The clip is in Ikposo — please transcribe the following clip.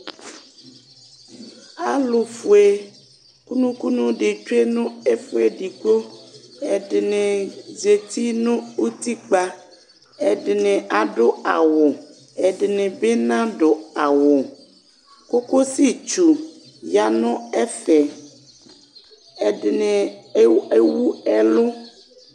alu fué kunũkunũ di tsué nu ɛfuedigbo ɛdini zeti nu utikpa edini adu awʊ edini bi nadu awʊ kokosï tsũ yanu ɛfɛ ɛdini éwu ewu ɛlʊ